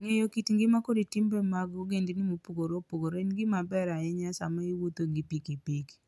Ng'eyo kit ngima kod timbe mag ogendini mopogore opogore en gima ber ahinya sama iwuotho gi pikipiki.